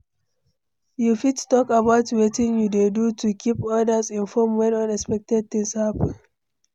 you fit talk about wetin you dey do to keep odas informed when unexpected things happen?